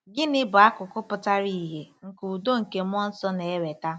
Gịnị bụ akụkụ pụtara ìhè nke udo nke mmụọ nsọ na-eweta?